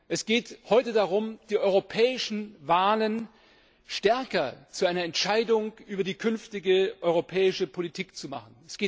Es geht heute darum, die europäischen Wahlen stärker zu einer Entscheidung über die künftige europäische Politik zu machen.